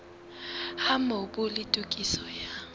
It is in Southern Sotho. ha mobu le tokiso ya